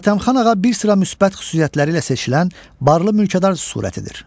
Hatəmxan ağa bir sıra müsbət xüsusiyyətləri ilə seçilən barlı mülkədar surətidir.